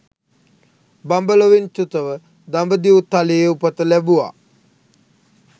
බඹලොවින් චුතව දඹදිව් තලයේ උපත ලැබුවා